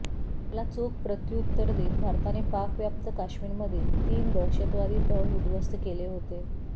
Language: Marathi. त्याला चोख प्रत्युत्तर देत भारताने पाकव्याप्त काश्मीरमधील तीन दहशतवादी तळ उद्ध्वस्त केले होते